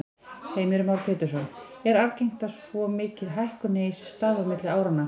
Heimir Már Pétursson: Er algengt að svo mikil hækkun eigi sér stað á milli áranna?